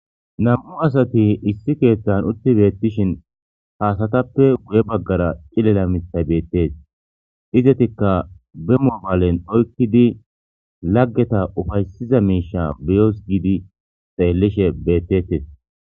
nam'u asati issi keeththan utti beettishin haasatappe guye baggara cilela mithay beettees izetikka bemobaalen oykkidi laggeta ufaysiza miisha beyoos giidi xeellishe bettettes